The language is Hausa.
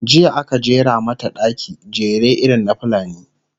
jiya aka jera mata ɗaki, jere irin na fulani